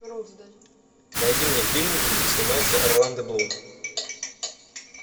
найди мне фильм где снимается орландо блум